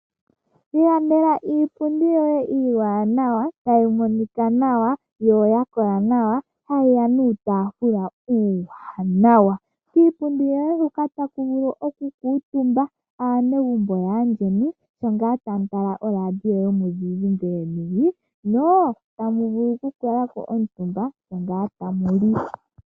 Ilandela iipundi yoye iiwanawa tayi monika nawa yo oya kola nawa hayi ya nuutafula uuwanawa iipundi yoye hoka ta ku vulu okukutumba aanegumbo yaayeni sho ngaa tamu tala oradio yomuzizimbe yeni nota mu vulu okukalako omutumba sho ngaa tamu li.